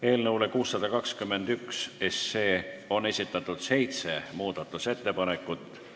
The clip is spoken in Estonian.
Eelnõu 621 kohta on esitatud seitse muudatusettepanekut.